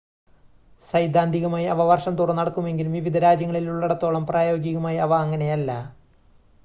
സൈദ്ധാന്തികമായി അവ വർഷം തോറും നടക്കുമെങ്കിലും വിവിധ രാജ്യങ്ങളിൽ ഉള്ളിടത്തോളം പ്രായോഗികമായി അവ അങ്ങനെയല്ല